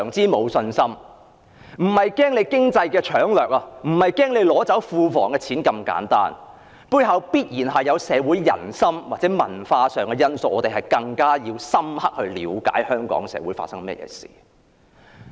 我們並非害怕經濟搶掠或害怕庫房的錢被取走，而是認為在背後必然存在社會人心或文化因素，所以我們必須更加深刻了解香港社會發生甚麼事情。